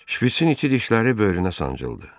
Şpiçin itidişləri böyrünə sancıldı.